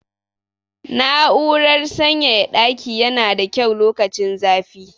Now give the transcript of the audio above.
Na'urar sanyaya ɗaki yana da kyau lokacin zafi.